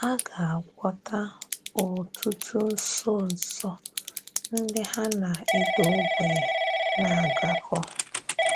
A gà-agwọ́tà òtùtù nsọ́nsọ̀ ndị hà na ìdà ògbènyè na-agakọ.